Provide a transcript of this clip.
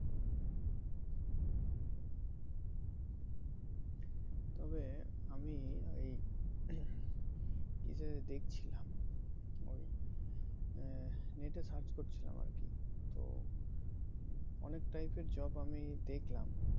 তবে আমি ওই কি যে দেখছিলাম ওই আহ net এ search করছিলাম আর কি তো অনেক type এর job আমি দেখলাম